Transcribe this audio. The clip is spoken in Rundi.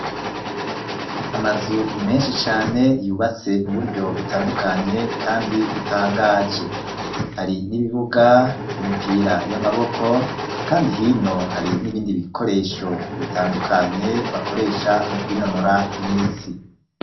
Amazu menshi cane, yubatse mu buryo butandukanye, kandi butangaje; hari n'ibibuga, vy'imipira y'amaboko, kandi hino, hari n'ibindi bikoresho bitandukanye, bakoresha mu kwinonora imitsi.